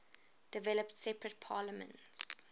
developed separate parliaments